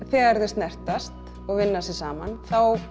þegar þau snertast og vinna saman